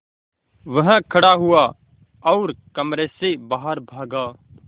वह खड़ा हुआ और कमरे से बाहर भागा